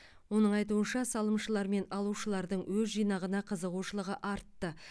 оның айтуынша салымшылар мен алушылардың өз жинағына қызығушылығы артты